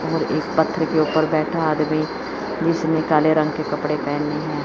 और एक पत्थर के ऊपर बैठा आदमी जिसने काले रंग के कपड़े पहने हैं।